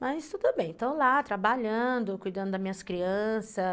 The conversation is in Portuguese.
Mas tudo bem, estou lá trabalhando, cuidando das minhas crianças.